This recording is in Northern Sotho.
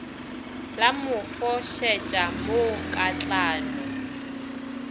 la mo fošetša mo katlano